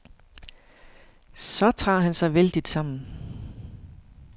Så tager han sig vældigt sammen.